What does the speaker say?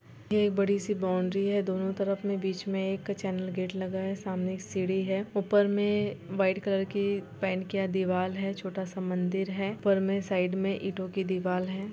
यह एक बड़ी सी बॉउंड्री है दोनों तरफ में बीच मे एक चैनल गेट लगा है। सामने एक सीढ़ी है ऊपर मे वाइट कलर की पेंट किया दीवाल है छोटा सा मंदिर है। ऊपर में साइड में ईटों की दीवाल है।